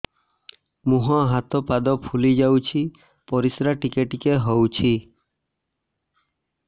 ମୁହଁ ହାତ ପାଦ ଫୁଲି ଯାଉଛି ପରିସ୍ରା ଟିକେ ଟିକେ ହଉଛି